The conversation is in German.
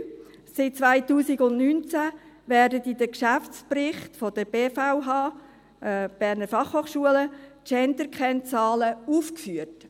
Seit 2019 werden in den Geschäftsberichten der Berner Fachhochschule, BFH, Genderkennzahlen aufgeführt.